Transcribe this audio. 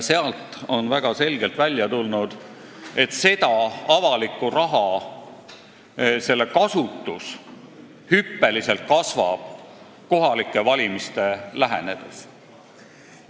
Sealt on väga selgelt välja tulnud, et selle avaliku raha kasutus kasvab hüppeliselt kohalike valimiste lähenedes.